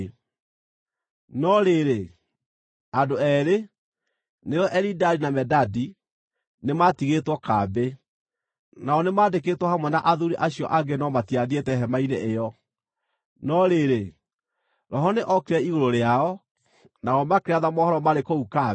No rĩrĩ, andũ eerĩ, nĩo Elidadi na Medadi, nĩmatigĩtwo kambĩ. Nao nĩmandĩkĩtwo hamwe na athuuri acio angĩ no matiathiĩte Hema-inĩ ĩyo. No rĩrĩ, Roho nĩ okire igũrũ rĩao, nao makĩratha mohoro marĩ kũu kambĩ.